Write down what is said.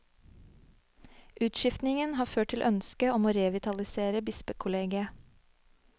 Utskiftingen har ført til ønske om å revitalisere bispekollegiet.